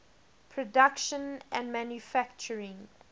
production and manufacturing